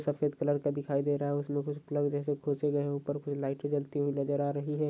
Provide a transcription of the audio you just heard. सफेद कलर का दिखाईं दे रहा है उसमे कुछ कुर्सी जो है ऊपर कुछ लाइट जलती हुई नजर आ रही है।